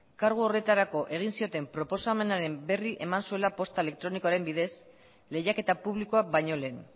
kargu horretarako egin zioten proposamenaren berri eman zuela posta elektronikoaren bidez lehiaketa publikoa baino lehen